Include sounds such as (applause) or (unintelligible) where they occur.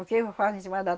Porque eu (unintelligible)